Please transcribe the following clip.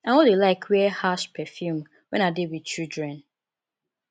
i no dey like wear harsh perfume wen i dey wit children